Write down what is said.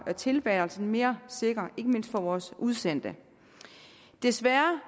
tilværelsen mere sikker ikke mindst vores udsendte desværre